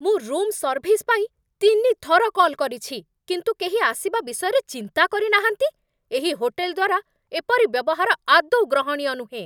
ମୁଁ room service ପାଇଁ ତିନିଥର କଲ୍ କରିଛି, କିନ୍ତୁ କେହି ଆସିବା ବିଷୟରେ ଚିନ୍ତା କରିନାହାନ୍ତି! ଏହି ହୋଟେଲ୍ ଦ୍ୱାରା ଏପରି ବ୍ୟବହାର ଆଦୌ ଗ୍ରହଣୀୟ ନୁହେଁ।